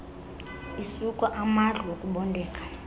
isuka amadlu ukubondeka